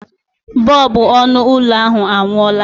Bọlbụ ọnụ ụlọ ahụ anwụọla.